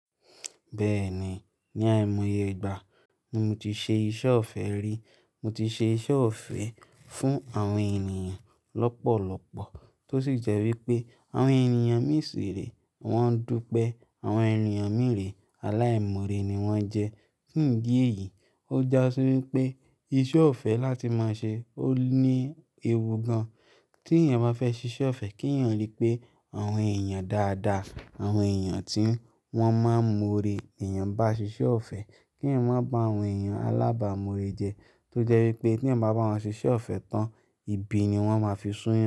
Bẹ́ẹ̀ni, ní àìmọye ìgbà, mo ti ṣe iṣẹ́ ọ̀fẹ́ rí. Mo ti ṣe iṣẹ́ ọ̀fẹ́ fún àwọn ènìyàn lọ́pọ̀lọ́pọ̀ tó sì jẹ́ wípé àwọn ènìyàn mìíràn ṣìre wọ́n dúpẹ́. Àwọn ènìyàn mìíràn aláìmọ́rè ni wón jẹ́. Fuǹ di èyí, ó jásí wípé iṣẹ́ ọ̀fẹ́ láti máa ṣe ó ní ewu gan. Tí ènìyàn bá fẹ́ ṣiṣẹ́ ọ̀fẹ́, kí ènìyàn rí pé àwọn ènìyàn dáadáa, àwọn ènìyàn tí wọ́n máa ń mọ́rè. Ènìyàn bá ṣiṣẹ́ ọ̀fẹ́, kí ènìyàn má bá àwọn ènìyàn alábàámọ́rè jẹ́ tó jẹ́ wípé tí ènìyàn bá bá wọn ṣiṣẹ́ ọ̀fẹ́ tán, ibi ni wọ́n máa fi sún yẹn.